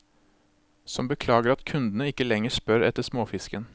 Som beklager at kundene ikke lenger spør etter småfisken.